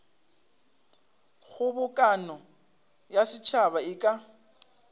kgobokano ya setšhaba e ka